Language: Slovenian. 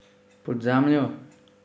Pod zemljo?